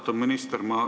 Austatud minister!